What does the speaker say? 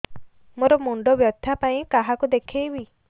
ମୋର ମୁଣ୍ଡ ବ୍ୟଥା ପାଇଁ କାହାକୁ ଦେଖେଇବି